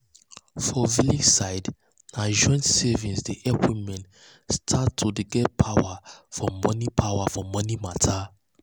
for village side na joint savings dey help women start to get power for money power for money matter.